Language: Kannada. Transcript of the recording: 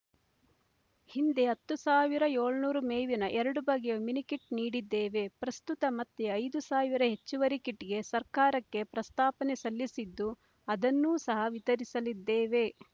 ಹಿಂದೆ ಹತ್ತ್ ಸಾವಿರ ಏಳನೂರು ಮೇವಿನ ಎರಡು ಬಗೆಯ ಮಿನಿಕಿಟ್ ನೀಡಿದ್ದೇವೆ ಪ್ರಸ್ತುತ ಮತ್ತೆ ಐದು ಸಾವಿರ ಹೆಚ್ಚುವರಿ ಕಿಟ್‍ಗೆ ಸರ್ಕಾರಕ್ಕೆ ಪ್ರಸ್ತಾವನೆ ಸಲ್ಲಿಸಿದ್ದು ಅದನ್ನೂ ಸಹ ವಿತರಿಸಲಿದ್ದೇವೆ